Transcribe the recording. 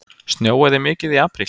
Snjóaði mikið í apríl?